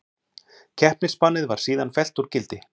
Keppnisbannið var síðan fellt úr gildi